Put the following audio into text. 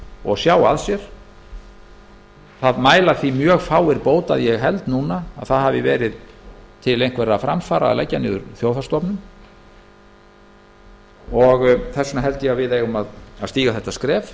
og sjá að sér það mæla því mjög fáir bót að ég held að það hafi verið til einhverra framfara að leggja þjóðhagsstofnun niður ég held því að við eigum að stíga þetta skref